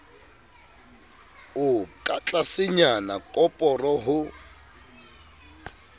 o ka tlasenyana koporo ho